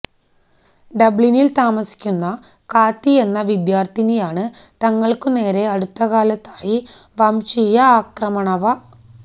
ഡബ്ലിനിൽ താമസിക്കുന്ന കാത്തി എന്ന വിദ്യാർത്ഥിനിയാണ് തങ്ങൾക്കു നേരെ അടുത്തകാലത്തായി വംശീയ ആക്രമണവ